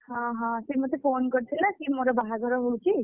ଓହୋ, ସେ ମୋତେ phone କରିଥିଲା କି ମୋର ବାହାଘର ବୋଲିକି,